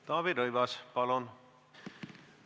Taavi Rõivas, palun!